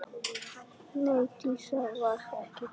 Nei, Dísa var ekki gömul.